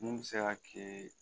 Mun bɛ se ka kɛ